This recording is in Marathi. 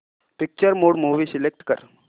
पिक्चर मोड मूवी सिलेक्ट कर